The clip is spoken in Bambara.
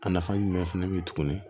A nafa ye jumɛn fɛnɛ be yen tuguni